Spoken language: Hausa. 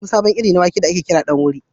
An samu wani sabon iri na wake da ake kira ɗan wuri.